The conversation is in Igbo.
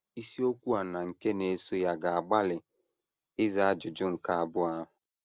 Isiokwu a na nke na - eso ya ga - agbalị ịza ajụjụ nke abụọ ahụ.